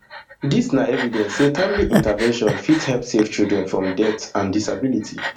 dis na evidence say timely intervention fit help save children from death and disability